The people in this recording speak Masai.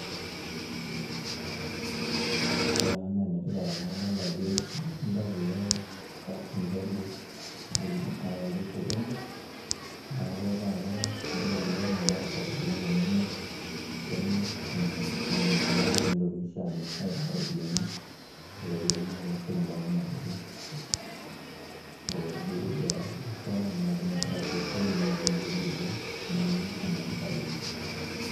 Ore ena naa enetipat amu adolita ajo ilmatunda kulo mihogo naayawaki osokoni. Neeku ore taata keeta faida amu imir enaa endaa nitokini sii aamir aitaa iropiyiani naa keesieki imbaa kumok oleng'. Nibolie biashara, nilaakinyie inkera sukuu, nilakie ingulie biili ake neeku enetipat oleng'.